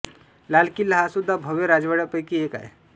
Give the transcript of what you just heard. लाल किल्ला हा सुद्धा भव्य राजवाडयापैकी एक आहे